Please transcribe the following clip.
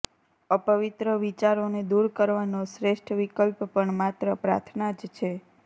અપવિત્ર વિચારોને દૂર કરવાનો શ્રેષ્ઠ વિકલ્પ પણ માત્ર પ્રાર્થના જ છે